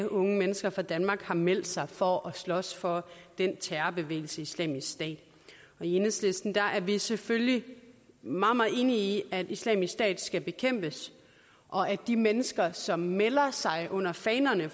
unge mennesker fra danmark har meldt sig for at slås for terrorbevægelsen islamisk stat i enhedslisten er vi selvfølgelig meget meget enige i at islamisk stat skal bekæmpes og at de mennesker som melder sig under fanerne